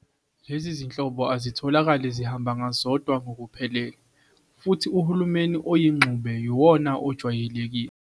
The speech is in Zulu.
Lezi zinhlobo azitholakale zihamba ngazodwa ngokuphelele, futhi uhulumeni oyingxube yiwona ojwayelekile.